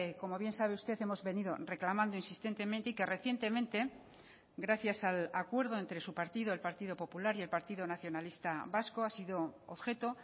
como bien sabe usted hemos venido reclamando insistentemente y que recientemente gracias al acuerdo entre su partido el partido popular y el partido nacionalista vasco ha sido objeto